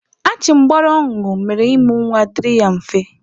Achịmgbara ọ ñụrụ mere ịmụ nwa dịrị ya mfe.